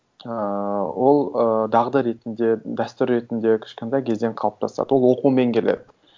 ыыы ол ыыы дағды ретінде дәстүр ретінде кішкентай кезден қалыптасады ол оқумен келеді